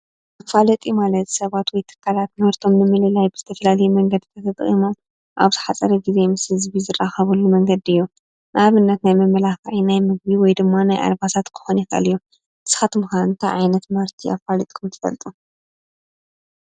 መፈላጢ ማለት ሰባት ወይ ትካላት ምህርቶም ንምልላይ ብዝተፈላለዩ መንገዲ ተጠቒሞም ኣብ ዝሓፀረ ግዜ ምስ ህዝቢ ዝራከብሉ መንገዲ እዩ። ንኣብነት፦ ናይ መመላክዒ ናይ ምግቢ ወይ ድማ ናይ ኣልባሳት ክኾን ይኽእል እዩ። ንስኻትኩም ከ እንታይ ዓይነት ምህርቲ ኣፋሊጥኩም ትፈልጡ ?